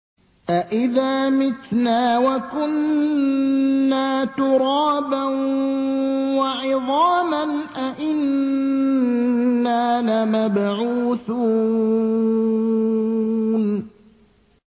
أَإِذَا مِتْنَا وَكُنَّا تُرَابًا وَعِظَامًا أَإِنَّا لَمَبْعُوثُونَ